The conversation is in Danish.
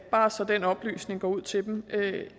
bare så den oplysning går ud til dem